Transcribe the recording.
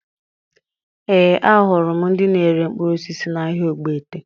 Ee, ahụrụ m ndị na-ere mkpụrụ osisi n'ahịa Ogbete